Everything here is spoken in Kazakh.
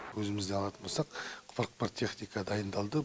өзімізді алатын болсақ қырық бір техника дайындалды